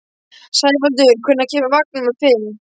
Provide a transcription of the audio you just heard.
Sævaldur, hvenær kemur vagn númer fimm?